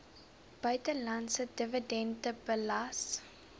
buitelandse dividende belas